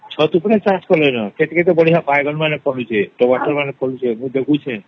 ଛାତ ଉପରେ ଚାଷ କଲେନ କେତେ କେତେ ବାଇଗଣ ଟମାଟୋ ଫାଲୁଚେ ମୁଇ ଦେଖୁଛେ